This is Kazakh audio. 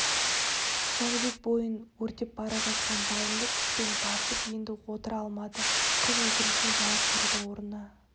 жәнібек бойын өртеп бара жатқан жалынды күшпен басып енді отыра алмады қыз өтінішіне жауап берудің орнына